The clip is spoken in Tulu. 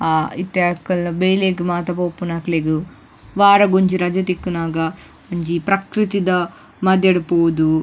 ಆ ಇತ್ತೆ ಅಕುಲು ಬೇಲೆಗ್ ಮಾತ ಪೋಪುನಕ್ಲೆಗ್ ವಾರಗೊಂಜಿ ರಜೆ ತಿಕ್ಕುನಗ ಒಂಜಿ ಪ್ರಕ್ರತಿದ ಮದ್ಯಡ್ ಪೋದು.